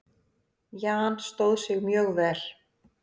Jan stóð sig mjög vel.